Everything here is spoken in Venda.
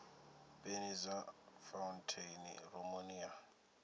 peni dza fauntheini rumuni ya